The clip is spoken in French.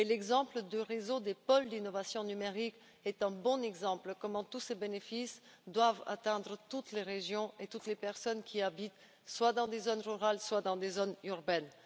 L'exemple du réseau des pôles d'innovation numérique est un bon exemple de la manière dont tous ces bénéfices doivent atteindre toutes les régions et toutes les personnes qui habitent dans les zones rurales comme dans les zones urbaines.